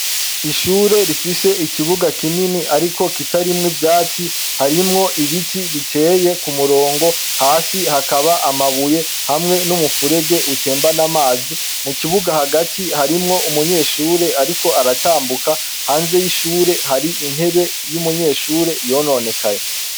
Ishure rifise ikibuga kinini ariko kitarimwo ivyatsi. Harimwo ibiti biteye ku murongo, hasi hakaba amabuye hamwe n'umufurege utembana amazi. Mu kibuga hagati harimwo umunyeshure ariko aratambuka. Hanze y'ishure har'intebe y'umunyeshure yononekaye.